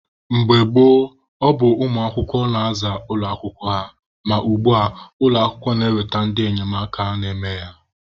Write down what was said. Mgbe gboo, ọ bụ ụmụ akwụkwọ na-aza ụlọ akwụkwọ ha, ma ugbua, ụlọ akwụkwọ na-eweta ndị enyemaka na-eme ya.